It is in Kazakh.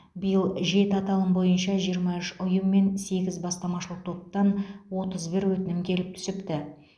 биыл жеті аталым бойынша жиырма үш ұйым мен сегіз бастамашыл топтан отыз бір өтінім келіп түсіпті